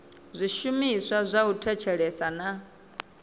zwishumiswa zwa u thetshelesa na